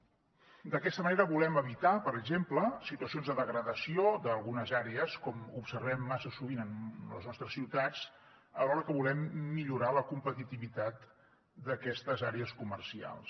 d’aquesta manera volem evitar per exemple situacions de degradació d’algunes àrees com observem massa sovint en les nostres ciutats alhora que volem millorar la competitivitat d’aquestes àrees comercials